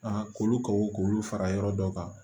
k'olu kaw k'olu fara yɔrɔ dɔ kan